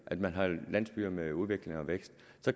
at man har landsbyer med udvikling og vækst